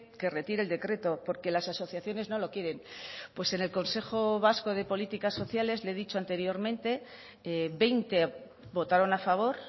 que retire el decreto porque las asociaciones no lo quieren pues en el consejo vasco de políticas sociales le he dicho anteriormente veinte votaron a favor